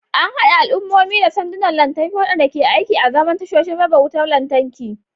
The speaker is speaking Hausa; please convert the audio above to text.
An haɗa al'ummomi da sandunan lantarki, waɗanda ke aiki azaman tashoshin raba wutar lantarki.